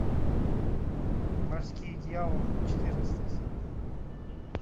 морские дьяволы четырнадцатая серия